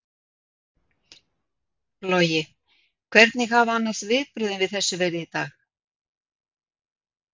Logi: Hvernig hafa annars viðbrögðin við þessu verið í dag?